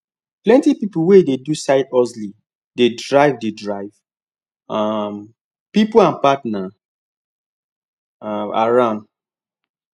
plenty people wey dey do side hustle dey drive dey drive um people and partner um around